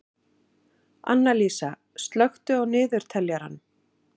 Annalísa, slökktu á niðurteljaranum.